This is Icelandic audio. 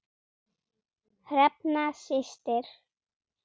Hrefna systir.